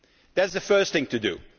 That is the first thing to do.